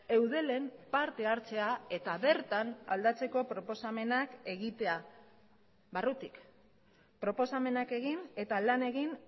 eudelen parte hartzea eta bertan aldatzeko proposamenak egitea barrutik proposamenak egin eta lan egin